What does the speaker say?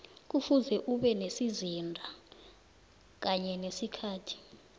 kufuze ube nesizinda kanye nesikhathi